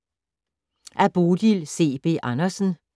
Af Bodil C. B. Andersen